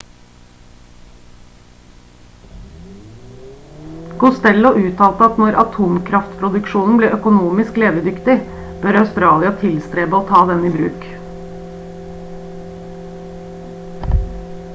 costello uttalte at når atomkraftproduksjonen blir økonomisk levedyktig bør australia tilstrebe å ta den i bruk